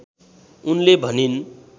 उनले भनिन्